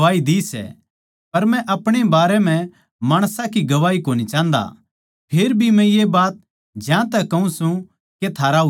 पर मै अपणे बारै म्ह माणसां की गवाही कोनी चाहन्दा फेर भी मै ये बात ज्यांतै कहूँ सूं के थारा उद्धार हो